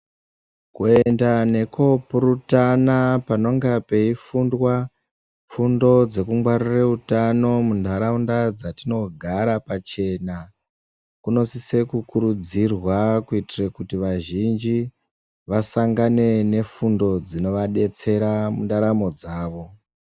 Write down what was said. Kuenda neko kurutana panonga peyi fundwa fundo dzeku ngwarira utano mundaraunda dzatinogara pachena kuno sisa ku kurudzirwa kuiitira kuti vazhinji vasangane ne fundo dzinova detsera mundaramo dzavo.